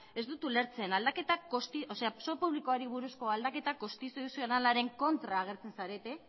ez dut ulertzen zor publikoari buruzko aldaketa konstituzionalaren kontra agertzen zarete